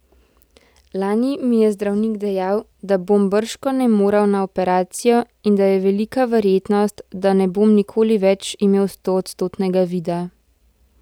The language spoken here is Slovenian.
Lani mi je zdravnik dejal, da bom bržkone moral na operacijo in da je velika verjetnost, da ne bom nikoli več imel stoodstotnega vida.